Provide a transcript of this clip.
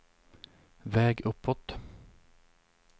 väg uppåt